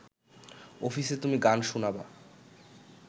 অফিসে তুমি গান শুনাবা